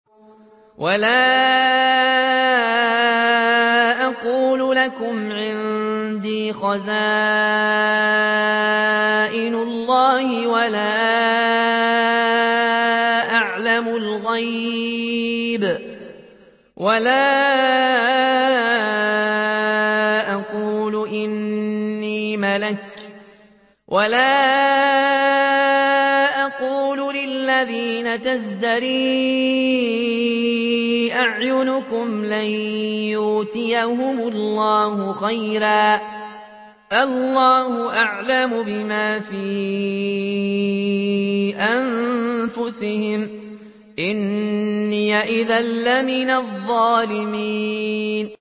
وَلَا أَقُولُ لَكُمْ عِندِي خَزَائِنُ اللَّهِ وَلَا أَعْلَمُ الْغَيْبَ وَلَا أَقُولُ إِنِّي مَلَكٌ وَلَا أَقُولُ لِلَّذِينَ تَزْدَرِي أَعْيُنُكُمْ لَن يُؤْتِيَهُمُ اللَّهُ خَيْرًا ۖ اللَّهُ أَعْلَمُ بِمَا فِي أَنفُسِهِمْ ۖ إِنِّي إِذًا لَّمِنَ الظَّالِمِينَ